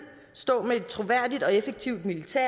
stå med et troværdigt og effektivt militær